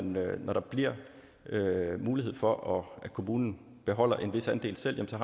når der bliver mulighed for at kommunen beholder en vis andel selv så